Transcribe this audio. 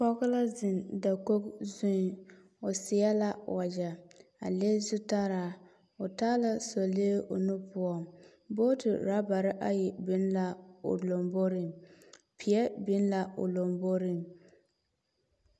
Pɔge la zeŋ dakog zuiŋ, seɛ la wagyɛ, a le zutaraa, o taala sɔlee o nu poɔŋ. Booti ɔrabare ayi be la o lamboriŋ peɛ biŋ la o lamboriŋ.